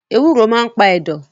Ewúro maa n pa ẹ̀dọ̀